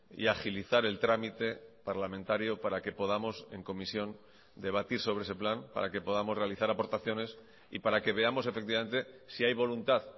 y agilizar el trámite parlamentario para que podamos en comisión debatir sobre ese plan para que podamos realizar aportaciones y para que veamos efectivamente si hay voluntad